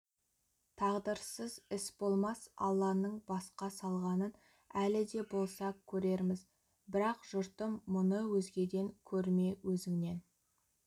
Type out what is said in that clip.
тағдырсыз іс болмас алланың басқа салғанын әлі де болса көрерміз бірақ жұртым мұны өзгеден көрме өзіңнен